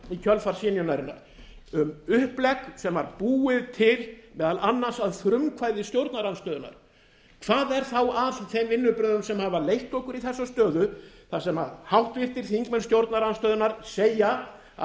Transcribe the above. kjölfar synjunarinnar um upplegg sem var búið til meðal annars að frumkvæði stjórnarandstöðunnar hvað er þá að þeim vinnubrögðum sem hafa leitt okkur í þess stöðu þar sem háttvirtir þingmenn stjórnarandstöðunnar segja að